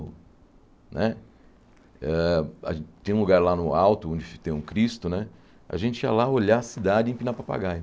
Né ãh tem um lugar lá no alto onde tem um Cristo né, a gente ia lá olhar a cidade e empinar papagaio.